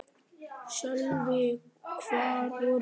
Sölvi: Hvar voru þeir?